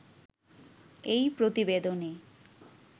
এই প্রতিবেদনে